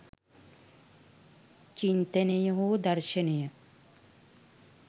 චින්තනය හෝ දර්ශනය